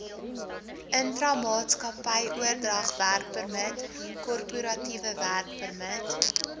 intramaatskappyoordragwerkpermit korporatiewe werkpermit